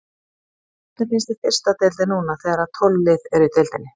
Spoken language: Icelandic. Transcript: Hvernig finnst þér fyrsta deildin núna þegar að tólf lið eru í deildinni?